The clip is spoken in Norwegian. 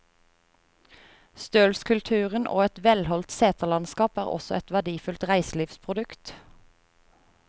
Stølskulturen og et velholdt seterlandskap er også et verdifullt reiselivsprodukt.